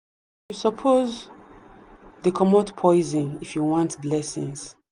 you suppose dey comot poison if you want blessings.